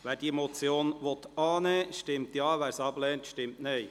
Wer die Motion annehmen will, stimmt Ja, wer diese ablehnt, stimmt Nein.